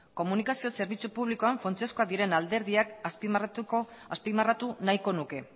komunikazio zerbitzu publikoan funtsezkoak diren alderdiak azpimarratu nahiko nuke